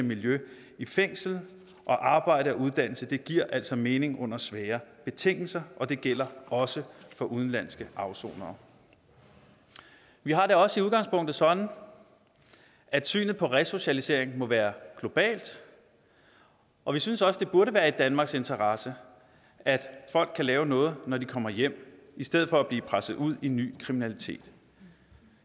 miljø i fængslet og arbejde og uddannelse giver altså mening under svære betingelser og det gælder også for udenlandske afsonere vi har det også i udgangspunktet sådan at synet på resocialisering må være globalt og vi synes også det burde være i danmarks interesse at folk kan lave noget når de kommer hjem i stedet for at blive presset ud i ny kriminalitet